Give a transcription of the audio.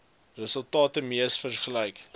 resultate mees waarskynlik